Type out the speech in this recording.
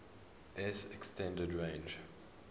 s extended range